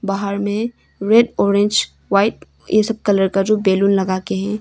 बाहर में red orange white ये सब कलर का जो बैलून लगा के है।